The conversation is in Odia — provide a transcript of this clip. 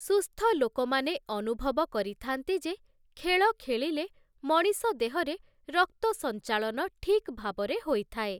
ସୁସ୍ଥ ଲୋକମାନେ ଅନୁଭବ କରିଥାନ୍ତି ଯେ ଖେଳ ଖେଳିଲେ ମଣିଷ ଦେହରେ ରକ୍ତ ସଂଞ୍ଚାଳନ ଠିକ ଭାବରେ ହୋଇଥାଏ ।